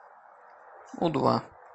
у два